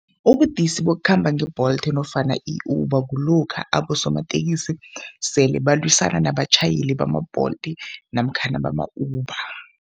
Ubudisi bokukhamba nge-Bolt nofana i-Uber kulokha abosomatekisi sele balwisana nabatjhayeli bama-Bolt namkhana bama-Uber.